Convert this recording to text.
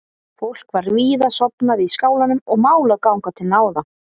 Fólk var víða sofnað í skálanum og mál að ganga til náða.